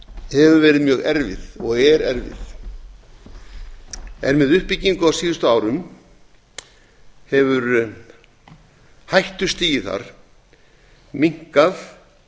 hefur verið mjög erfið og er erfið en með uppbyggingu á síðustu árum hefur hættustigið þar minnkað